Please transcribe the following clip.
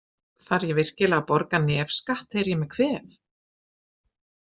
Þarf ég virkilega að borga nefskatt þegar ég er með kvef?